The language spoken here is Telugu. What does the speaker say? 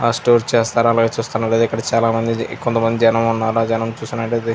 ఆ స్టోర్ చేస్తారు అలాగే చూస్తున్నారు కదా ఇక్కడ చాల మంది కొంతమంది జనం ఉన్నారు ఆ జనం చూసినట్లయితే --